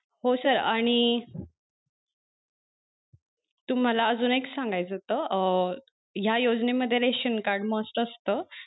हो sir आणि तुम्हाला आजून एक सांगायचं होत अं ह्या योजनेमध्ये ration card असत.